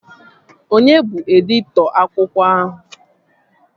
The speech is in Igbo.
Onye bụ editọ akwụkwọ ahụ?